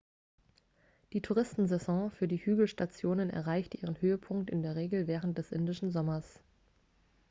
die touristensaison für die hügelstationen erreicht ihren höhepunkt in der regel während des indischen sommers